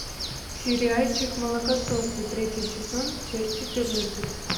сериальчик молокососы третий сезон часть четырнадцать